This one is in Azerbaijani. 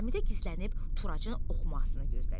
Zəmidə gizlənib Turacın oxumasını gözlədik.